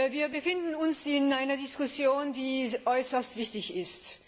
Wir befinden uns in einer Diskussion, die äußerst wichtig ist.